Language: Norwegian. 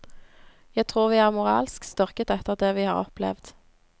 Jeg tror vi er moralsk styrket etter det vi har opplevd.